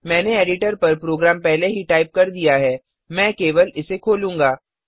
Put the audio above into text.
मैंने एडिटर पर प्रोग्राम पहले ही टाइप कर दिया हैमैं केवल इसे खोलूँगा